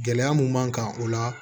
Gɛlɛya mun b'an kan o la